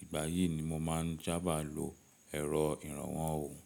Ìgbà yìí ni mo máa ń jábá lo ẹ̀rọ ìrànwọ́ ohun.